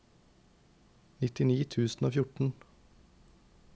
nittini tusen og fjorten